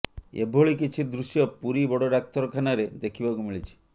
ଏଭଳି କିଛି ଦୃଶ୍ୟ ପୁରୀ ବଡ଼ ଡାକ୍ତରଖାନାରେ ଦେଖିବାକୁ ମିଳିଛି